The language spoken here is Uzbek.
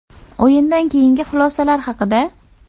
O‘yindan keyingi xulosalar haqida.